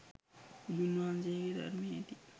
බුදුන් වහන්සේගේ ධර්මයේ ඇති